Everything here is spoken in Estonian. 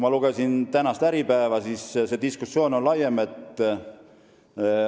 Ma lugesin tänast Äripäeva ja see diskussioon on laiem.